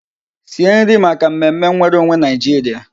Sie nri maka mmemme nwereonwe Nigeria!